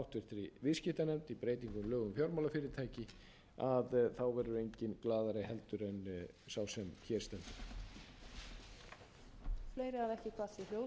háttvirtri viðskiptanefnd í breytingu á lögum um fjármálafyrirtæki verður enginn glaðari heldur en sá sem hér stendur